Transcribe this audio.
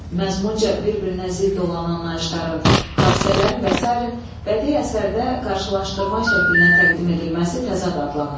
Məzmunca bir-birinə zidd olan anlayışların, hadisələrin və sairənin bədii əsərdə qarşılaşdırma şəklinə təqdim edilməsi təzad adlanır.